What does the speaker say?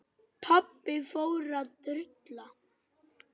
Viljinn kemur á óvart.